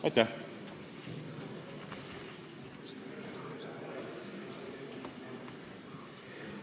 Aitäh!